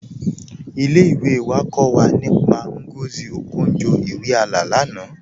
Ilé-ìwé wà kọ́ wà nípá Ngozi Okonjo-Iweala lánà